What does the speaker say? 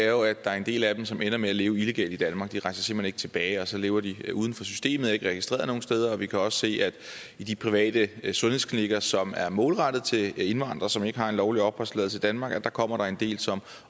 jo at der er en del af dem som ender med at leve illegalt i danmark det rejser simpelt hen ikke tilbage og så lever de uden for systemet og er ikke registreret nogen steder og vi kan også se at i de private sundhedsklinikker som er målrettet til indvandrere som ikke har en lovlig opholdstilladelse i danmark kommer der en del som